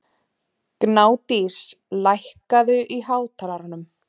Gnádís, lækkaðu í hátalaranum.